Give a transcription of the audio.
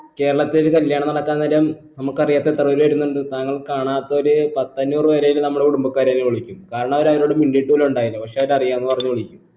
കേരളത്തേക്ക് കല്യാണം നടക്കാൻ നേരം നമ്മുക്ക് അറിയാത്ത എത്ര പേര് വരുന്നുണ്ട് താങ്കൾ കാണാത്തൊരു പത്തഞ്ഞൂറ് പേര് ആയിട്ടുള്ള നമ്മളെ കുടുംബക്കാരെ നീ വിളിക്കും കാരണം അവരാരൊടും മിണ്ടീട്ട് പോലു ഇണ്ടായില്ല പക്ഷെ അത് അറിയാന്ന് പറഞ്ഞു വിളിക്കും